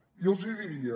jo els hi diria